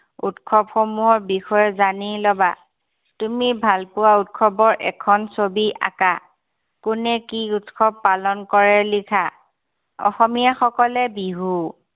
উৎসৱ সমূহৰ বিষয়ে জানি ল'বা। তুমি ভাল পোৱা উৎসৱৰ এখন ছবি আঁকা। কোনে কি উৎসৱ পালন কৰে লিখা। অসমীয়াসকলে বিহু।